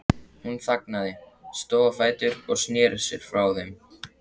Hún þagnaði, stóð á fætur og sneri sér frá þeim.